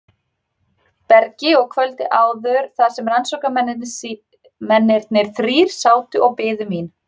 bergi og kvöldið áður þar sem rannsóknarmennirnir þrír sátu og biðu mín.